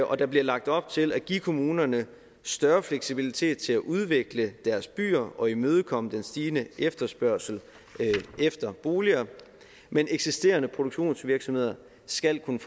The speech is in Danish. og der bliver lagt op til at give kommunerne større fleksibilitet til at udvikle deres byer og imødekomme den stigende efterspørgsel efter boliger men eksisterende produktionsvirksomheder skal kunne